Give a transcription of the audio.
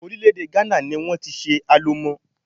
Orílè-èdè Ghana ní wọ́n ti ṣe Alomo.